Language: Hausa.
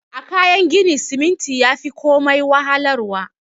A Kayan gini siminti yafi komai wahalar wa.